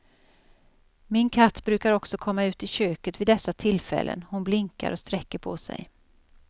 Min katt brukar också komma ut i köket vid dessa tillfällen, hon blinkar och sträcker på sig.